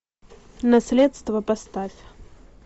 наследство поставь